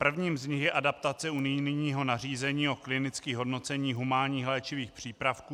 Prvním z nich je adaptace unijního nařízení o klinických hodnoceních humánních léčivých přípravků.